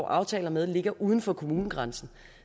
aftaler med ligger uden for kommunegrænsen